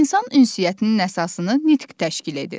İnsan ünsiyyətinin əsasını nitq təşkil edir.